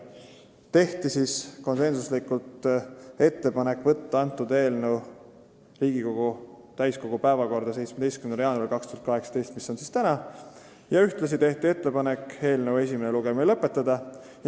Tehti konsensuslik ettepanek võtta eelnõu Riigikogu täiskogu päevakorda 17. jaanuariks 2018, mis on täna, ja ühtlasi tehti ettepanek eelnõu esimene lugemine lõpetada.